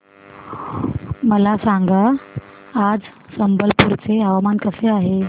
मला सांगा आज संबलपुर चे हवामान कसे आहे